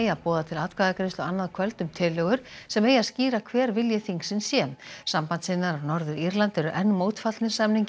að boða til atkvæðagreiðslu annað kvöld um tillögur sem eigi að skýra hver vilji þingsins sé sambandssinnar á Norður Írlandi eru enn mótfallnir samningi